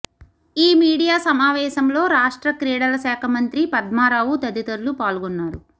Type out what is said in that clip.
ఈ మీడియా సమావేశంలో రాష్ట్ర క్రీడల శాఖ మంత్రి పద్మారావు తదితరులు పాల్గొన్నారు